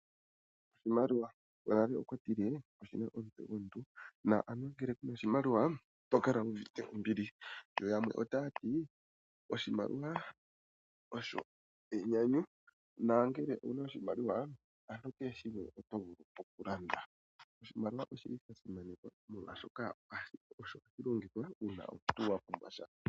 Oshimaliwa, gonale okwa tile oshina omutse gomuntu na anuwa ngele kuna oshimaliwa, ito kala wu uvite ombili. Yo yamwe otaya ti oshimaliwa osho enyanyu na ngele owuna oshimaliwa ano kehe shimwe oto vulu okulanda. Oshimaliwa oshi li sha simanekwa molwashoka osho hatu longitha uuna omuntu wa pumbwa sha.